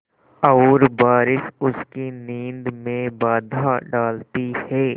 और बारिश उसकी नींद में बाधा डालती है